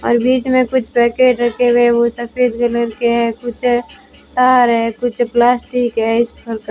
और बीच में कुछ पैकेट रखे हुए है वो सफेद कलर के है कुछ तार है कुछ प्लास्टिक है इस ।